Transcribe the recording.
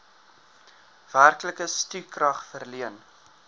werklike stukrag verleen